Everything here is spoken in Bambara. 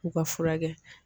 O ka furakɛ